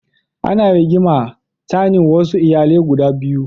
Ana rigima tsanin wasu iyalai guda biyu.